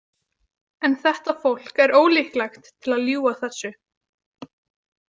En þetta fólk er ólíklegt til að ljúga þessu.